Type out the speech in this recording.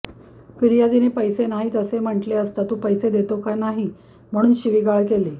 फिर्यादीने पैसे नाहीत असे म्हटले असता तू पैसे देतो का नाही म्हणून शिवीगाळ केली